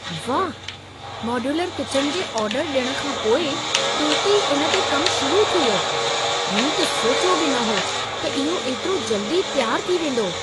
वाह! Modular kitchen जे order ॾियण खां पोइ तुर्त ई इन ते कमु शुरू थी वियो। मूं त सोचियो बि न हो त इहो इतिरो जल्दी तयारु थी वेंदो।